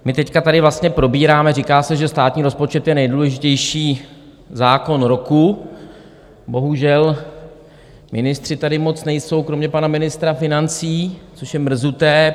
My teď tady vlastně probíráme, říká se, že státní rozpočet je nejdůležitější zákon roku, bohužel ministři tady moc nejsou kromě pana ministra financí, což je mrzuté.